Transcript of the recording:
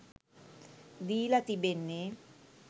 දීලා තිබෙන්නේ.